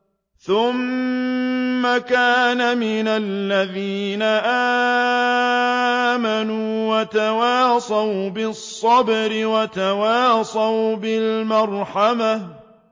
ثُمَّ كَانَ مِنَ الَّذِينَ آمَنُوا وَتَوَاصَوْا بِالصَّبْرِ وَتَوَاصَوْا بِالْمَرْحَمَةِ